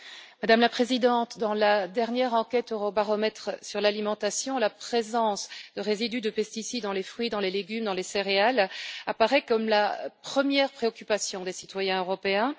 Madame la Présidente, dans la dernière enquête Eurobaromètre sur l'alimentation, la présence de résidus de pesticides dans les fruits, les légumes et les céréales apparaît comme la première préoccupation des citoyens européens